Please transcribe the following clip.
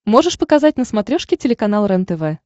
можешь показать на смотрешке телеканал рентв